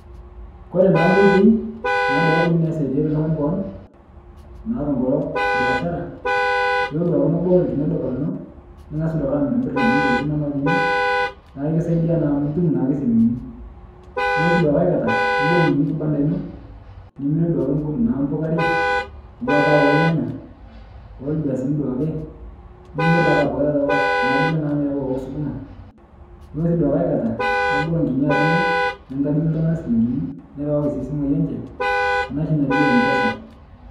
Kore naa koitoi naa duake kunini naisadiarie ltung'ani koon, naa tongolo beeshara, ilo duake nibol lkini lduka lino, neng'asu duake amirmir kuni tokitin inono teine, naake kisaidia naa amuu itum naake silinkini. Nulo sii duake aikata nibol kini kibanda ino nimire naa duake mpukarei aawa taa olnyaya, olbiasini duake, nimir abake taata kuna bene naanyori naauwa oo suguma. Nulo sii duake aikata nibol kini aji ino nitakinye ltung'ana silinkini, nirawaki sii simoi enche ana shii naji Mpesa.